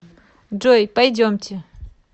джой пойдемте